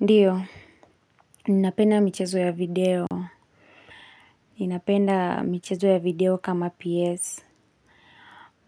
Ndiyo, ninapenda michezo ya video. Ninapenda michezo ya video kama PS.